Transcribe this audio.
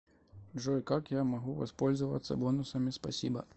джой как я могу воспользоваться бонусами спасибо